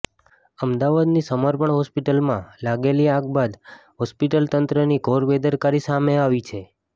અમદાવાદની સમર્પણ હોસ્પિટલમાં લાગેલી આગ બાદ હોસ્પિટલ તંત્રની ઘોર બેદરકારી સામે આવી છે